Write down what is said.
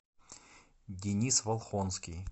денис волхонский